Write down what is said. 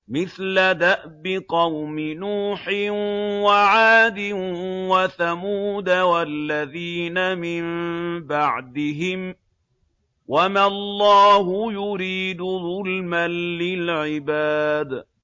مِثْلَ دَأْبِ قَوْمِ نُوحٍ وَعَادٍ وَثَمُودَ وَالَّذِينَ مِن بَعْدِهِمْ ۚ وَمَا اللَّهُ يُرِيدُ ظُلْمًا لِّلْعِبَادِ